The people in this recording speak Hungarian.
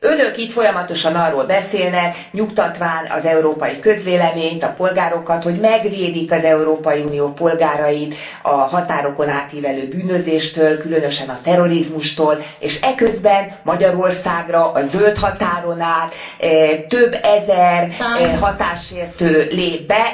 Önök itt folyamatosan arról beszélnek nyugtatván az európai közvéleményt, a polgárokat hogy megvédik az Európai Unió polgárait a határokon átívelő bűnözéstől, különösen a terrorizmustól, és eközben Magyarországra a zöldhatáron át több ezer határsértő lép be.